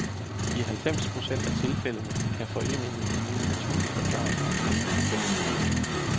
I halvfems procent af tilfældene kan foreningen give en naturlig forklaring på UFOfænomenet.